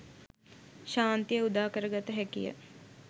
ශාන්තිය උදා කරගත හැකිය.